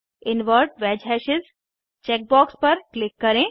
invert वैज hashes check box पर click करें